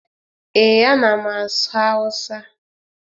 Ee, a na m asụ Hausa